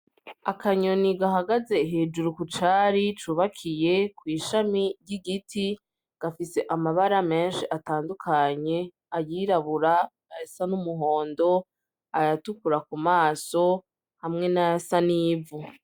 Akanyoni gahagaze hejuru ku cari cubakiye kw'ishami ry'igiti , gafise amabara menshi atandukanye , ayirabura, ayasa n'umuhondo , ayatukura ku maso hamwe n'ayasa n'ivu.